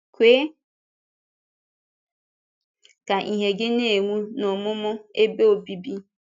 Kwe ka ìhè gị na-enwu n’ọmụmụ Ebe Obibi.